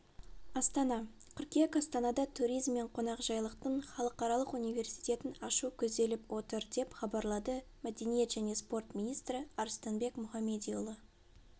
астана қыркүйек астанада туризм мен қонақжайлықтың халықаралық университетін ашу көзделіп отыр деп хабарлады мәдениет және спорт министрі арыстанбек мұхамедиұлы